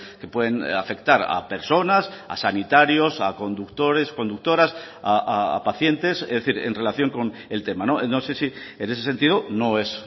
que pueden afectar a personas a sanitarios a conductores conductoras a pacientes es decir en relación con el tema no sé si en ese sentido no es